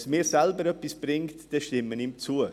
Wenn es mir selber etwas bringt, dann stimme ich ihm zu.